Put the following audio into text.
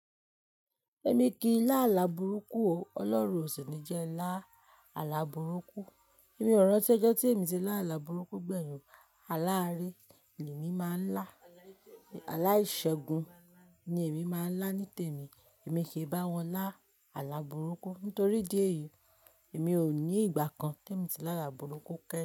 Èmi kì í lá àlà burúkú o. Ọlọ́run ó sì ní jẹ lá àlà burúkú. Èmi ò rántí ojọ́ tí èmi ti lá àlà burúkú gbẹ̀yìn. Àlà aré ni èmi máa ń lá, àlà ìṣẹ́gun ni èmi máa ń lá nítèmi. Èmi kì í bá wọn lá àlà burúkú nitorí idí èyí, èmi ò ní ìgbà kan tí èmi ti lá àlà burúkú kẹ́ẹ́.